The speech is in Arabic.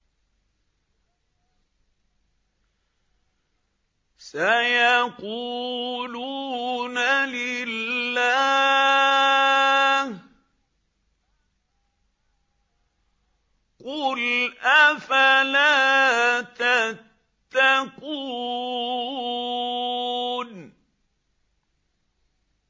سَيَقُولُونَ لِلَّهِ ۚ قُلْ أَفَلَا تَتَّقُونَ